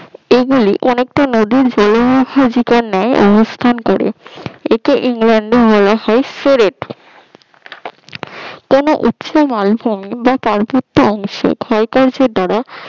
এগুলি অনেকটা নদীর ন্যায় অবস্থান করে একে ইংল্যান্ডে বলা হয় সরেট কোন উচ্চ মালভূমি বা পার্বত্য অংশে ক্ষয় কার্যের দ্বারা